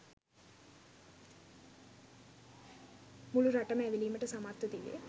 මුළු රටම ඇවිළවීමට සමත්ව තිබේ